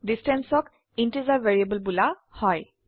distanceঅক integer variable বোলা হয়